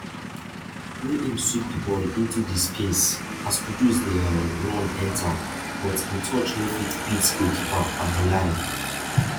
wey im sweep di ball into di space as kudus dey um run enta but im touch no fit beat goalkeeper abiboulaye